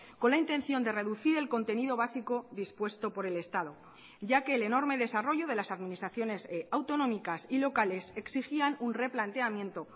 con la intención de reducir el contenido básico dispuesto por el estado ya que el enorme desarrollo de las administraciones autonómicas y locales exigían un replanteamiento